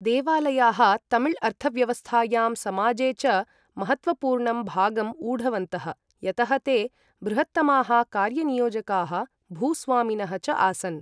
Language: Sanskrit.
देवालयाः तमिल अर्थव्यवस्थायां, समाजे च महत्त्वपूर्णं भागं ऊढवन्तः यतः ते बृहत्तमाः कार्य नियोजकाः भूस्वामिनः च आसन्।